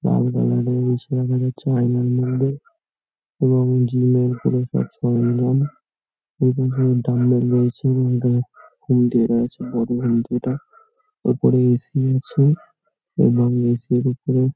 এবং জিম -এর উপরে আছে এবং দুটো ডাম্বাল রয়েছে এবং হোম থিয়েটার আছে বড় হোম থিয়েটার উপরে এ.সি আছে এবং এ.সি -এর উপরে --